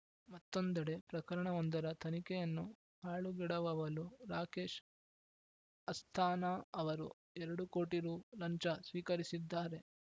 ಮತ್ತೊಂದೆಡೆ ಪ್ರಕರಣವೊಂದರ ತನಿಖೆಯನ್ನು ಹಾಳುಗೆಡವವಲು ರಾಕೇಶ್‌ ಅಸ್ಥಾನಾ ಅವರು ಎರಡು ಕೋಟಿ ರು ಲಂಚ ಸ್ವೀಕರಿಸಿದ್ದಾರೆ